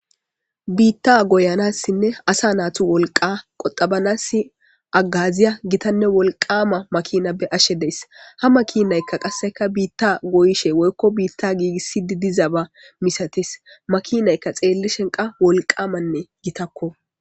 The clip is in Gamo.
Bitha goyanasinne asa nayitu wolqa qoxabanas hagaziya githanne wolqama makina be,ashe dayis ha makinayika qase bitha goyishe woyiko bitha gigisidi dizaba misates makinayika wolqamanne gitako